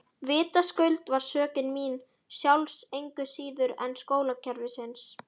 Vitaskuld var sökin mín sjálfs engu síður en skólakerfisins.